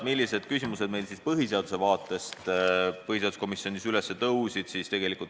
Millised küsimused meil põhiseaduse vaatevinklist põhiseaduskomisjonis üles tõusid?